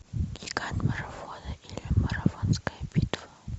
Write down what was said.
гигант марафона или марафонская битва